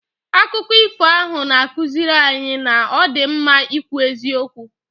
Akụkọ ifo ahụ na-akụziri anyị na ọ dị mma ikwu eziokwu.